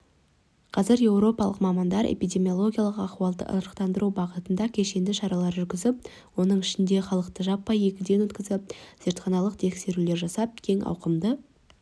қазір еуропалық мамандар эпидемиологиялық ахуалды ырықтандыру бағытында кешенді шаралар жүргізіп оның ішінде халықты жаппай егуден өткізіп зертханалық тексреулер жасап кең ауқымды